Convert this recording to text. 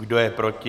Kdo je proti?